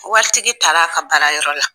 Waritigi taara' ka baara yɔrɔ la.